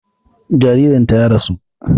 Jaririn ta ya rasu